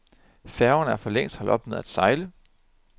Færgerne er for længst holdt op med at sejle.